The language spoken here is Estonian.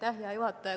Hea juhataja!